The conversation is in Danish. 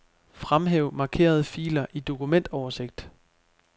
Fremhæv markerede filer i dokumentoversigt.